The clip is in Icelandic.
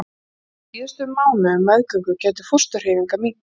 Á síðustu mánuðum meðgöngu gætu fósturhreyfingar minnkað.